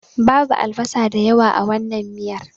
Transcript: Babu albasa da yawa a wannan miyar.